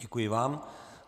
Děkuji vám.